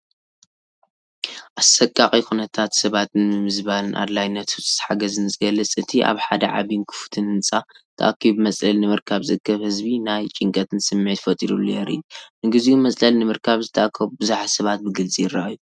ኣሰቃቒ ኩነታት ሰባትን ምምዝባልን ኣድላይነት ህጹጽ ሓገዝን ዝገልጽ፣ እቲ ኣብ ሓደ ዓቢይን ክፉትን ህንጻ ተኣኪቡ መጽለሊ ንምርካብ ዝእከብ ህዝቢ ናይ ጭንቀትን ስምዒት ፈጢሩሉ የርኢ። ንግዚኡ መጽለሊ ንምርካብ ዝተኣከቡ ብዙሓት ሰባት ብግልፂ ይረአዩ።